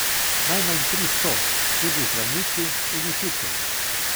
Najmanj tristo, tudi zdravniki in učitelji.